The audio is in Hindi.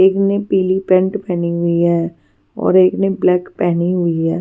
एक ने पीली पेंट पहनी हुई है और एक ने ब्लैक पहनी हुई है.